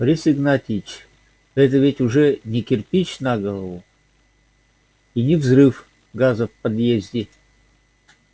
борис игнатьевич это ведь уже не кирпич на голову и не взрыв газа в подъезде